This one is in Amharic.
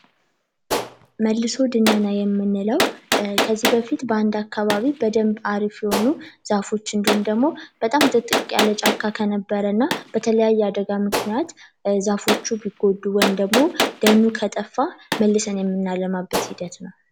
መልሶ ድነና የምንለው ከዚህ በፊት በአንድ አካባቢ አሪፍ የነበሩ ዛፎች ወይም ደግሞ በጣም ጥቅጥቅ ያለ ጫካ ከነበረ እና በተለያየ አደጋ ምክንያት ዛፎቹ ቢጎዱ ደኑ ከጠፋ መልሰን የምናለማበት ሂደት ነው።